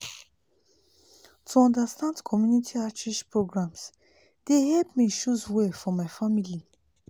to understand community outreach programs dey help me choose well for my family.